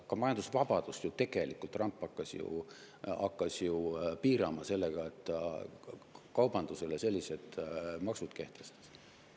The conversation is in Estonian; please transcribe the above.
Ka majandusvabadust tegelikult Trump hakkas ju piirama sellega, et ta kaubandusele sellised maksud kehtestas.